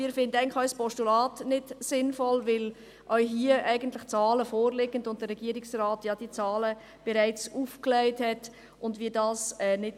Wir finden auch ein Postulat nicht sinnvoll, weil die Zahlen eigentlich vorliegen und der Regierungsrat diese Zahlen bereits aufgelegt hat.